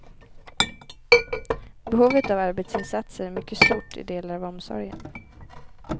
Behovet av arbetsinsatser är mycket stort i delar av omsorgen.